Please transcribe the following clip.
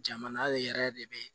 Jamana de yɛrɛ de be